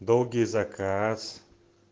долгий заказ